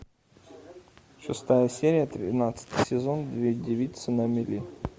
шестая серия тринадцатый сезон две девицы на мели